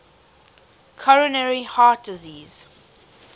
coronary heart disease